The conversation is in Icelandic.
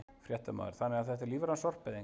Fréttamaður: Þannig að þetta er lífræn sorpeyðing?